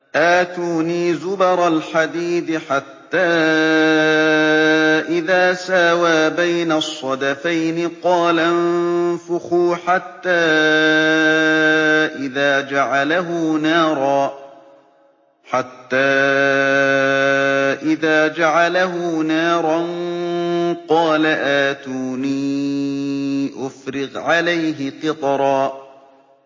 آتُونِي زُبَرَ الْحَدِيدِ ۖ حَتَّىٰ إِذَا سَاوَىٰ بَيْنَ الصَّدَفَيْنِ قَالَ انفُخُوا ۖ حَتَّىٰ إِذَا جَعَلَهُ نَارًا قَالَ آتُونِي أُفْرِغْ عَلَيْهِ قِطْرًا